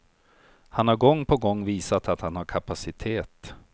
Han har gång på gång visat att han har kapacitet.